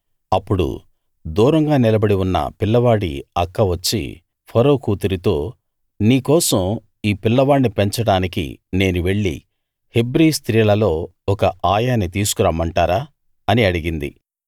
అప్పుడు దూరంగా నిలబడి ఉన్న పిల్లవాడి అక్క వచ్చి ఫరో కూతురితో నీ కోసం ఈ పిల్లవాణ్ణి పెంచడానికి నేను వెళ్లి హెబ్రీ స్త్రీలలో ఒక ఆయాని తీసుకు రమ్మంటారా అని అడిగింది